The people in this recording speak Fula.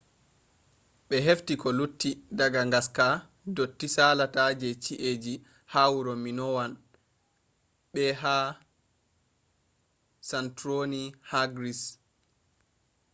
ɓe hefti ko lutti daga ngaska dotti salata je ci’eji ha wuro minowan be ha santorini ha gris